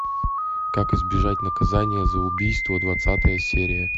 как избежать наказание за убийство двадцатая серия